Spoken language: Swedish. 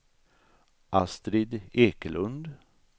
Astrid Ekelund